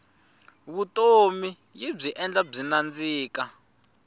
vutomi yibyi endla byi nandzika